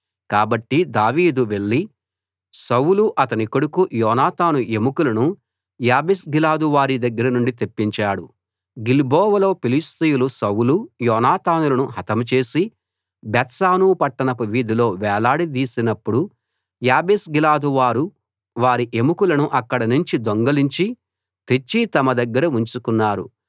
కాబట్టి దావీదు వెళ్లి సౌలు అతని కొడుకు యోనాతాను ఎముకలను యాబేష్గిలాదు వారి దగ్గర నుండి తెప్పించాడు గిల్బోవలో ఫిలిష్తీయులు సౌలు యోనాతానులను హతం చేసి బేత్షాను పట్టణపు వీధిలో వేలాడదీసినప్పుడు యాబేష్గిలాదు వారు వారి ఎముకలను అక్కడినుంచి దొంగిలించి తెచ్చి తమ దగ్గర ఉంచుకున్నారు